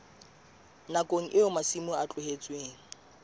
nakong eo masimo a tlohetsweng